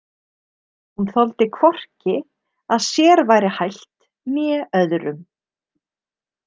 Hún þoldi hvorki að sér væri hælt né öðrum.